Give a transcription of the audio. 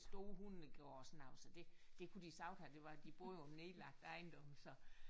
Stor hundegård og sådan noget så det det kunne de sagtens have det var de boede på en nedlagt ejendom så